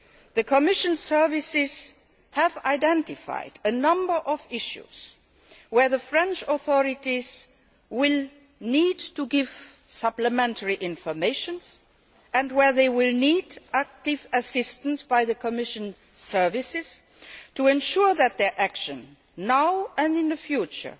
The Commission services have identified a number of issues where the French authorities will need to give supplementary information, and where they will need active assistance by the Commission services to ensure that their action now, and in the future,